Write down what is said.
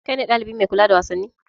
Kai ne ɗalibi mai kula da wasanni?